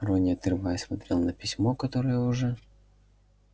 рон не отрываясь смотрел на письмо которое уже